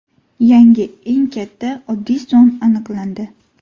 Yangi eng katta oddiy son aniqlandi.